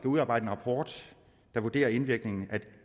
udarbejde en rapport der vurderer indvirkningen af de